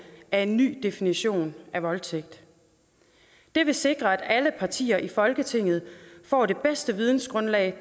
af en ny definition af voldtægt det vil sikre at alle partier i folketinget får det bedste vidensgrundlag